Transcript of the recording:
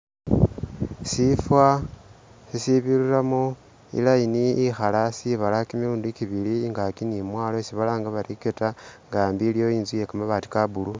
Shifa isibiriramo i line ikhala sibala kimilundi kibili ingaki ni mwalo isi balanga bari equator nga ambi iliwo itsu iyekamabati ka blue